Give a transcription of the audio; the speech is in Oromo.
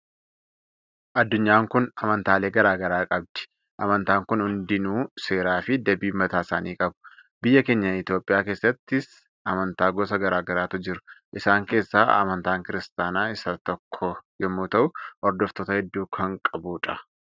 Addunyaan kun amantaalee gara garaa qabdi. Amantaan kun hundiyyuu seeraa fi dambii mataa isaanii qabu. Biyya keenya Itoophiyaa keessatti ls amantaa gosa gara garaatu jiru. Isaan keessaa amantaan kiristaanaa isa tokko yommuu ta'u hordoftoota hedduu kan qabudha.